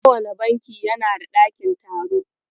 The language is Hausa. Kowane banki yana da ɗakin taro.